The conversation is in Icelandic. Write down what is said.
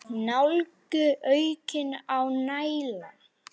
Nálgun: aukning á nálægð?